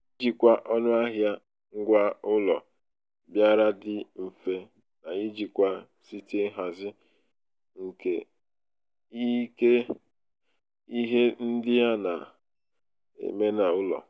ijikwa ọnụahịa ngwaaụlọ bịara dị mfe n'ijikwa site nhazi nke ike ihe ndị a ndị a na-eme n'ụlọ.